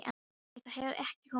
Nei, það hefur ekki komið til tals.